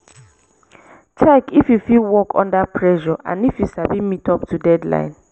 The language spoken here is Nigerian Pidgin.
check if yu fit work under pressure and if yu sabi meet up to deadline